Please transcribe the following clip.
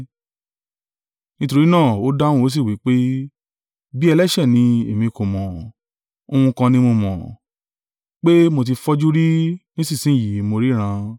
Nítorí náà, ó dáhùn ó sì wí pé, “Bí ẹlẹ́ṣẹ̀ ni, èmi kò mọ̀, Ohun kan ni mo mọ̀, pé mo tí fọ́jú rí, nísinsin yìí mo ríran.”